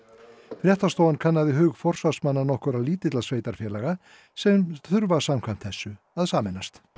fréttastofan kannaði hug forsvarsmanna nokkurra lítilla sveitarfélaga sem þurfa samkvæmt þessu að sameinast